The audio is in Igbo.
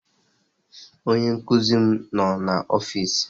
Onye nkuzi noo na ọfịs.